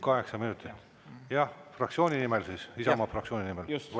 Kaheksa minutit, jah, fraktsiooni nimel siis, Isamaa fraktsiooni nimel, volitusega.